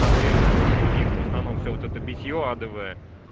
проблема то что у них в основном всё вот это битьё адовое